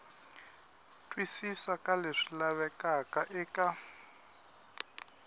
twisisa ka leswi lavekaka eka